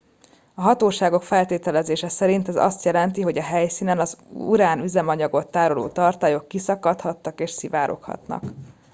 a hatóságok feltételezése szerint ez azt jelzi hogy a helyszínen az urán üzemanyagot tároló tartályok kiszakadhattak és szivároghatnak